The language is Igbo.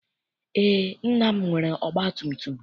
Eé, nna m nwere ọgbatumtum.